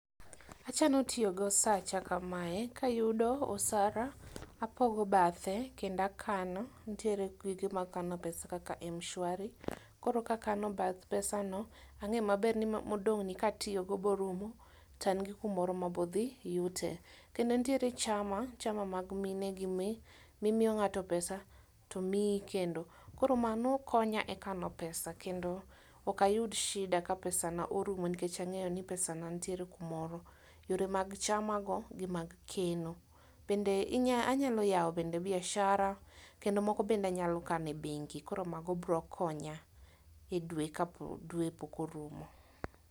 Achano tiyo gosacha kamae kayudo osara tapogo bathe kendo akano ntiere gige mag kano pesa kaka mshwari. Koro kakano bath pesano ang'e maber ni modong' ni katiyo go morumo taan gi kumoro mabo dhi yute. Kendo ntiere chama chama mag mine gi mi mimiyo ng'ato pesa tomiyi kendo. Koro mano konya e kano pesa kendo ok ayud sida ka pesa na orumo nikech ang'eyo ni pesa na ntiere kumoro. Yore mag chama gi mag keno. Bende inya anyalo yawo bende biashara kendo moko bende anyalo kane bengi koro mago bro konya e dwe ka dwe pok orumo.